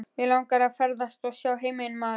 Mig langar að ferðast og sjá heiminn maður.